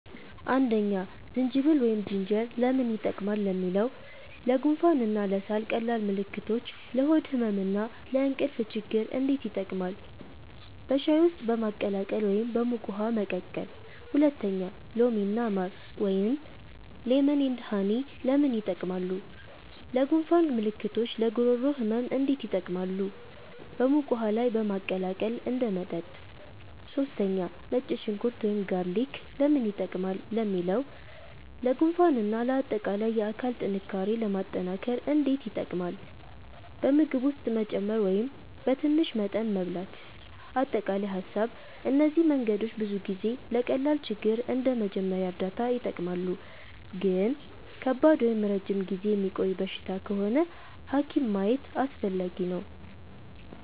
1) ዝንጅብል (Ginger) ለምን ይጠቀማሉ ለሚለው? ለጉንፋን እና ለሳል ቀላል ምልክቶች ለሆድ ህመም እና ለእንቅልፍ ችግኝ እንዴት ይጠቀማሉ? በሻይ ውስጥ በማቀላቀል ወይም በሙቅ ውሃ መቀቀል 2) ሎሚ እና ማር (Lemon & Honey) ለምን ይጠቀማሉ? ለጉንፋን ምልክቶች ለጉሮሮ ህመም እንዴት ይጠቀማሉ? በሙቅ ውሃ ላይ በማቀላቀል እንደ መጠጥ 3) ነጭ ሽንኩርት (Garlic) ለምን ይጠቀማሉ ለሚለው? ለጉንፋን እና ለአጠቃላይ የአካል ጥንካሬ ለማጠናከር እንዴት ይጠቀማሉ? በምግብ ውስጥ መጨመር ወይም በትንሽ መጠን መብላት አጠቃላይ ሀሳብ እነዚህ መንገዶች ብዙ ጊዜ ለቀላል ችግር እንደ መጀመሪያ እርዳታ ይጠቀማሉ ግን ከባድ ወይም ረጅም ጊዜ የሚቆይ በሽታ ከሆነ ሐኪም ማየት አስፈላጊ ነው